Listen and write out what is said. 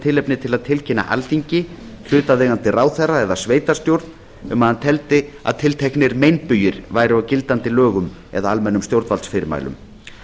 tilefni til að tilkynna alþingi hlutaðeigandi ráðherra eða sveitarstjórn um að hann teldi að tilteknir meinbugir væru á gildandi lögum eða almennum stjórnvaldsfyrirmælum